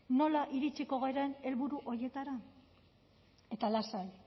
nola iritsiko garen helburu horietara eta lasai